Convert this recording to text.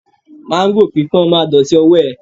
Máńgò pípọ́n ma dọ̀tí ọwọ́ ẹ